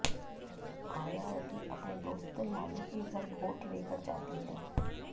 आयावती अपने दोस्त लालू के घर गोट लेकर जाती है